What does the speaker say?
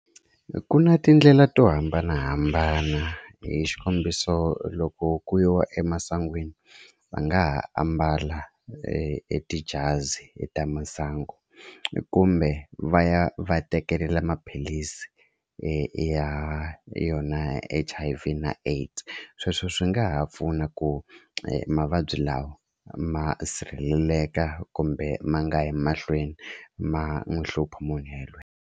Ku na tindlela to hambanahambana hi xikombiso loko ku yiwa emasangwini va nga ha ambala e e tijazi ta masangu kumbe va ya va tekelela maphilisi ya yona H_I_V na AIDS sweswo swi nga ha pfuna ku mavabyi lawa ma sirheleleka kumbe ma nga yi mahlweni ma n'wi hlupha munhu yelweyo.